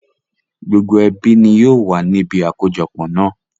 Gbogbo ẹbí ni yìí ó wà níbi àkójọpọ̀ náà